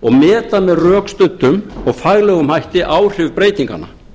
og meta með rökstuddum og faglegum hætti áhrif breytinganna